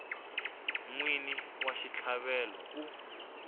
n wini wa xitlhavelo u